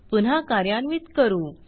पुन्हा कार्यान्वित करू